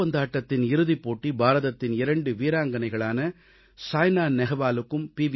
பூப்பந்தாட்டத்தின் இறுதிப் போட்டி பாரதத்தின் இரண்டு வீராங்கனைகளான சாய்னா நெஹ்வாலுக்கும் பி